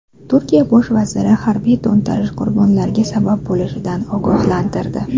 Turkiya bosh vaziri harbiy to‘ntarish qurbonlarga sabab bo‘lishidan ogohlantirdi.